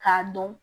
K'a dɔn